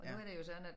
Nu er det jo sådan at